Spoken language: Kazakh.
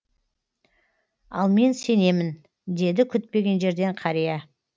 ал мен сенемін деді күтпеген жерден қария